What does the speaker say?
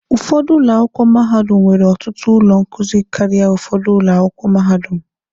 Ụfọdụ ụlọ akwụkwọ mahadum nwere ọtụtụ ụlọ nkuzi karịa ụfọdụ ụlọ akwụkwọ mahadum.